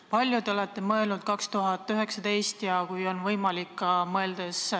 Kui palju te olete plaaninud 2019. aastaks ressursse, selleks et hoolduskoormust vähendada?